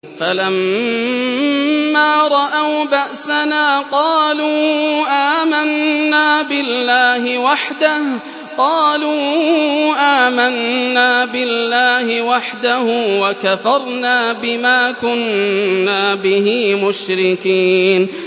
فَلَمَّا رَأَوْا بَأْسَنَا قَالُوا آمَنَّا بِاللَّهِ وَحْدَهُ وَكَفَرْنَا بِمَا كُنَّا بِهِ مُشْرِكِينَ